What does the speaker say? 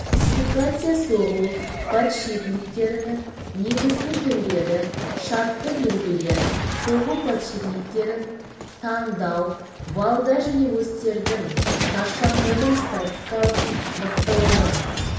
классификация соғу подшипниктерінің негізгі түрлері шартты белгілер соғу подшипниктерін таңдау валдар және осьтердің шаршаңдығын статикалық мықтылығын